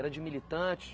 Era de militante?